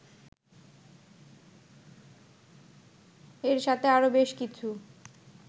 এর সাথে আরো বেশ কিছু